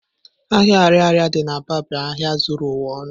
Ahia ariaria di n'Aba bu ahịa zuru ụwa ọnụ.